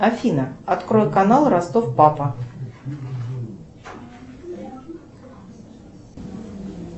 афина открой канал ростов папа